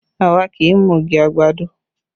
Àwa kì í mu ogi àgbàdo